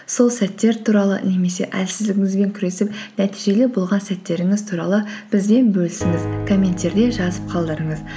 сол сәттер туралы немесе әлсіздігіңізбен күресіп нәтижелі болған сәттеріңіз туралы бізбен бөлісіңіз комменттерде жазып қалдырыңыз